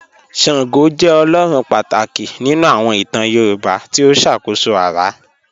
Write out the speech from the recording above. Ṣàngó jẹ́ ọlọ́run pátákì nínu àwọn ìtàn Yorùbá tí ó ṣákóṣó ara.